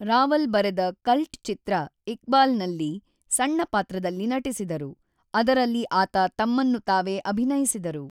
ರಾವಲ್ ಬರೆದ ಕಲ್ಟ್ ಚಿತ್ರ ಇಕ್ಬಾಲ್‌ನಲ್ಲಿ ಸಣ್ಣ ಪಾತ್ರದಲ್ಲಿ ನಟಿಸಿದರು, ಅದರಲ್ಲಿ ಆತ ತಮ್ಮನ್ನು ತಾವೇ ಅಭಿನಯಿಸಿದರು.